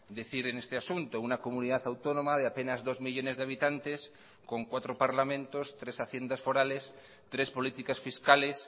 decir en este asunto una comunidad autónoma de apenas dos millónes de habitantes con cuatro parlamentos tres haciendas forales tres políticas fiscales